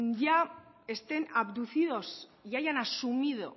ya estén abducidos y hayan asumido